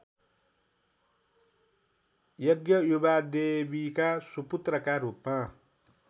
यज्ञयुवादेवीका सुपुत्रका रूपमा